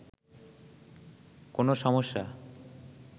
কোনো সমস্যা